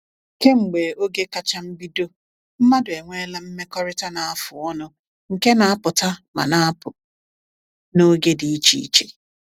Kemgbe oge kacha mbido, mmadụ enweela mmekọrịta na-afụ ọnụ nke na-apụta ma na-apụ n’oge dị iche iche.